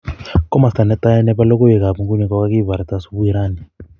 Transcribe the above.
Komosta netai nepo logoiwek ap nguni kogagiparta Subui rani.